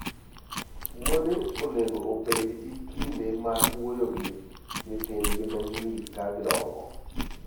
Wuone onego obed gi kinde mag wuoyo gi nyithindgi ma nyiri ka gidongo.